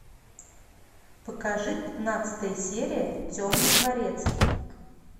покажи пятнадцатая серия темный дворецкий